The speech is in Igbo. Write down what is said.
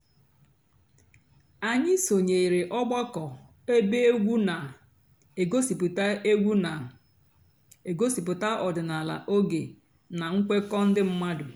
ányị́ sònyèéré ọ̀gbàkọ̀ èbé ègwú nà-ègosìpụ́tá ègwú nà-ègosìpụ́tá ọ̀dị́náàlà óge nà ǹkwékọ̀ ndị́ m̀mádụ́.